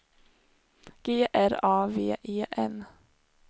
G R A V E N